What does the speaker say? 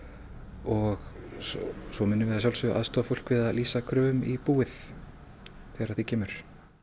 og svo munum við að sjálfsögðu aðstoða fólk við að lýsa kröfum í búið þegar að því kemur